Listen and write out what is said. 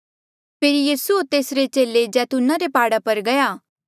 पर यीसू होर तेसरे चेले जैतूना रे प्हाड़ा पर गया